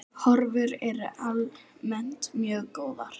Horfur eru almennt mjög góðar.